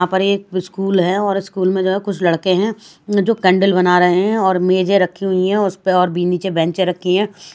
यहां पर एक स्कूल है और स्कूल में जो है कुछ लड़के हैं जो कैंडल बना रहे हैं और मेजे रखी हुई है उस पे और भी नीचे बेचें रखी है।